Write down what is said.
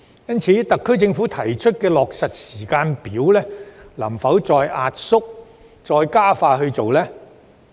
因此，特區政府能否再壓縮其提出的落實時間表，加快進行有關工作呢？